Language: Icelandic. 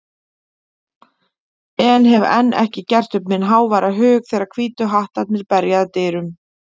en hef enn ekki gert upp minn háværa hug þegar Hvítu hattarnir berja að dyrum.